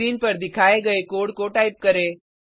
screen पर दिखाई गये कोड को टाइप करें